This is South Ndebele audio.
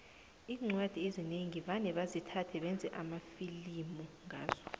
iincwadi ezinengi vane basithathe bayenze amafilimu ngazo